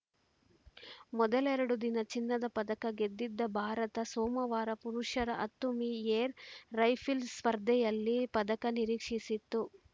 ಮೊದಲೆರಡು ದಿನ ಚಿನ್ನದ ಪದಕ ಗೆದ್ದಿದ್ದ ಭಾರತ ಸೋಮವಾರ ಪುರುಷರ ಹತ್ತು ಮೀ ಏರ್‌ ರೈಫಲ್‌ ಸ್ಪರ್ಧೆಯಲ್ಲಿ ಪದಕ ನಿರೀಕ್ಷಿಸಿತ್ತು